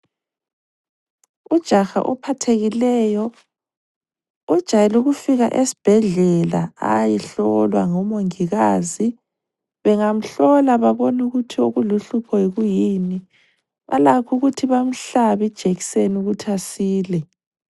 Ujaha ophathekileyo, ujayele ukufika esbhedlela ayehlolwa ngo mongikazi. Bengamhlola babone ukuthi okuluhlupho kuyini, balakho ukuthi bamhlabe ijekseni ukuthi asile.